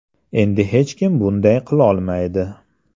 Endi hech kim bunday qilolmaydi.